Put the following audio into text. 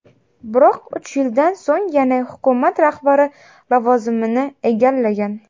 Biroq uch yildan so‘ng yana hukumat rahbari lavozimini egallagan.